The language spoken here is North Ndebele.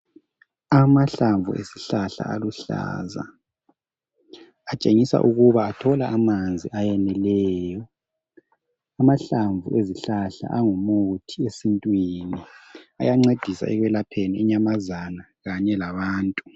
Amahlamvu esihlahla aluhlaza atshengisa ukuba athola amanzi ayeneleyo. Amahlamvu ezihlahla angumuthi esintwini, ayancedisa ekwelapheni inyamazana kanye labantu.